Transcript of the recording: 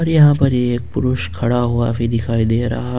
यहां पर एक पुरुष खड़ा हुआ भी दिखाई दे रहा--